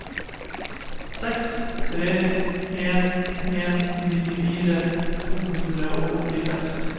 seks tre en en nittifire to hundre og åttiseks